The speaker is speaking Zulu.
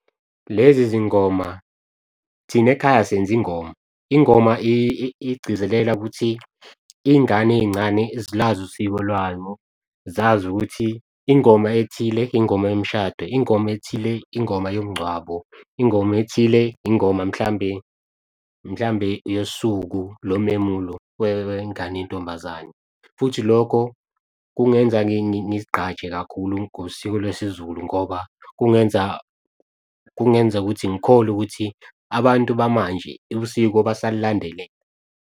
Lezi zingoma thina ekhaya senza ingoma, ingoma igcizelela ukuthi iy'ngane ey'ncane zilwazi usiko lwabo, zazi ukuthi ingoma ethile ingoma yomshado, ingoma ethile ingoma yomngcwabo, ingoma ethile, ingoma mhlambe yosuku lo memulo wengane yentombazane. Futhi lokho kungenza ngizigqaje kakhulu ngosiko lwesiZulu ngoba kungenza ukuthi ngikholwe ukuthi abantu bamanje usiko basalandelela.